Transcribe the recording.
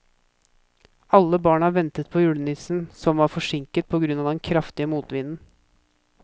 Alle barna ventet på julenissen, som var forsinket på grunn av den kraftige motvinden.